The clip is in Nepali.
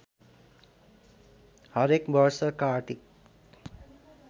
हरेक वर्ष कार्तिक